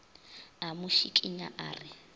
a mo šikinya a re